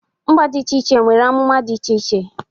Mba dị iche nwere amụma ọchị dị iche iche.